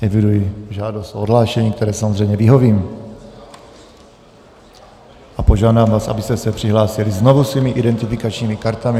Eviduji žádost o odhlášení, které samozřejmě vyhovím, a požádám vás, abyste se přihlásili znovu svými identifikačními kartami.